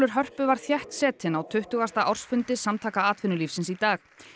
Hörpu var þéttsetinn á tuttugasta ársfundi Samtaka atvinnulífsins í dag